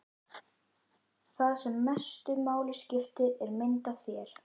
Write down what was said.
Það sem mestu máli skiptir er mynd af þér.